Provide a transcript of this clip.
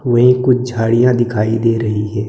वो एक कुछ झाड़ियां दिखाई दे रही है।